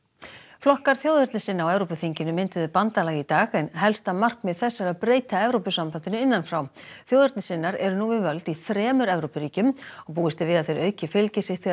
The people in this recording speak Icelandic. flokkar þjóðernissinna á Evrópuþinginu mynduðu bandalag í dag en helsta markmið þess er að breyta Evrópusambandinu innan frá þjóðernissinnar eru nú við völd í þremur Evrópuríkjum og búist er við að þeir auki fylgi sitt þegar